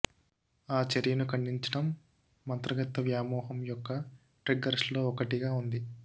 ఆ చర్యను ఖండించడం మంత్రగత్తె వ్యామోహం యొక్క ట్రిగ్గర్స్లో ఒకటిగా ఉంది